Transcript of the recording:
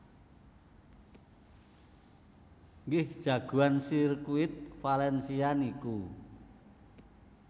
Nggih jagoan sirkuit Valencia niku